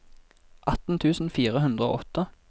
atten tusen fire hundre og åtte